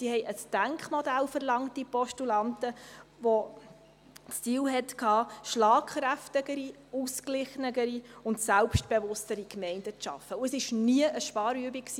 Die Postulanten verlangten ein Denkmodell, welches das Ziel hatte, schlagkräftigere, ausgeglichenere und selbstbewusstere Gemeinden zu schaffen, und es war nie eine Sparübung.